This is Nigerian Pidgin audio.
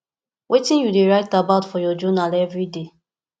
wetin you dey write about for your journal every day